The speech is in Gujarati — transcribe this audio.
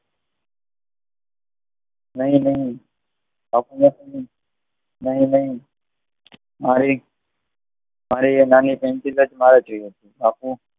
નહિ નહીં બાપુએ, નહીં નહિ મારે એ નાની પેન્સિલ જ મારે જોઈએ છે